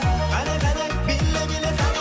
қане қане биле биле қане